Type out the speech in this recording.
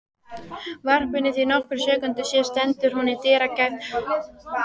varpinu því nokkrum sekúndum síðar stendur hún í dyragætt